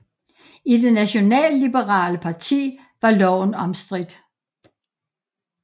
I det nationalliberale parti var loven omstridt